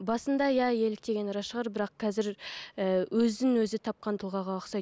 басында иә еліктегені рас шығар бірақ қазір ііі өзін өзі тапқан тұлғаға ұқсайды